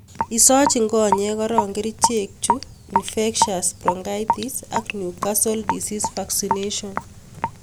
Isochin konyek koron kerichek chu Infectious Bronchitis ak Newcastle Disease vaccination.